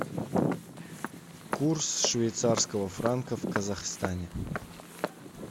курс швейцарского франка в казахстане